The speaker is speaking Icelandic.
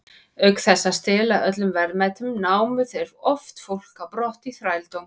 Auk þess að stela öllum verðmætum, námu þeir oft fólk á brott í þrældóm.